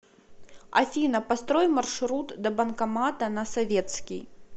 афина построй маршрут до банкомата на советский